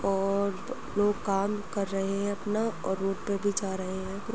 और लोग काम कर रहे हैं अपना और जा रहे हैं --